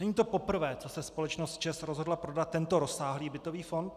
Není to poprvé, co se společnost ČEZ rozhodla prodat tento rozsáhlý bytový fond.